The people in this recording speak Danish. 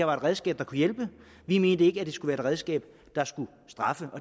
var et redskab der kunne hjælpe vi mente ikke at det skulle være et redskab der skulle straffe